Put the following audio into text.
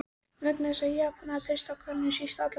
Vegna þess, að Japanir treysta Könum síst allra þjóða!